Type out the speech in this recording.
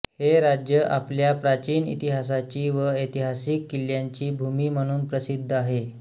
हे राज्य आपल्या प्राचीन इतिहासाची व ऐतिहासिक किल्यांची भूमी म्हणून प्रसिद्ध आहे